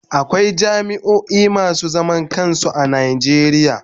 Akwai jami'a masu zaman kansu a Najeriya.